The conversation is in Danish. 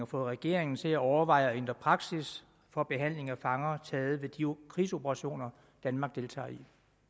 fået regeringen til at overveje at ændre praksis for behandling af fanger taget ved de krigsoperationer danmark deltager i